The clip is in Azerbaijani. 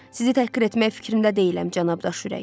Sizi təhqir etmək fikrimdə deyiləm, cənabdaş ürək.